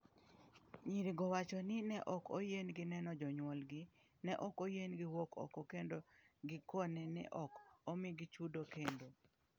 Nyirigo wacho ni ne ok oyienegi neno jonyuolgi, ne ok oyienegi wuok oko kendo gikone ne ok omigi chudo kendo.